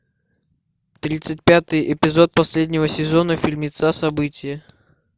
тридцать пятый эпизод последнего сезона фильмеца событие